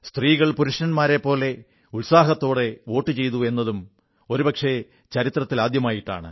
സ്ത്രീകൾ പുരുഷന്മാരെപ്പോലെ തന്നെ ഉത്സാഹത്തോടെ വോട്ടുചെയ്തു എന്നതും ഒരുപക്ഷേ ചരിത്രത്തിൽ ആദ്യമായിട്ടാണ്